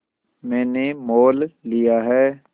मैंने मोल लिया है